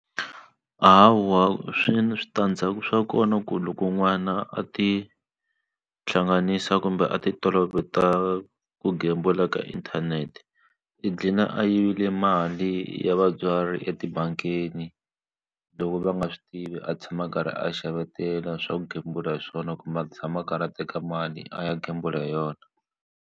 Hawa swi ni switandzhaku swa kona ku loko n'wana a ti hlanganisa kumbe a ti toloveta ku gembula ka inthanete i dlina a yivile mali ya vatswari etibangini loko va nga swi tivi a tshama a karhi a xavetela swa ku gembula hi swona kumbe a tshama a karhi a teka mali a ya gembula hi yona.